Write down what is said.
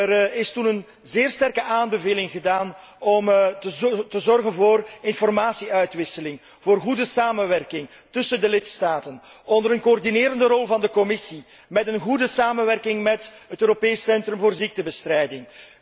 Er is toen een zeer sterke aanbeveling gedaan om te zorgen voor informatie uitwisseling, voor goede samenwerking tussen de lidstaten onder een coördinerende rol van de Commissie, in goede samenwerking met het Europees Centrum voor ziektebestrijding.